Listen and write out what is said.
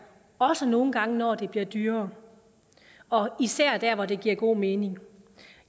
også nogle gange når det bliver dyrere og især der hvor det giver god mening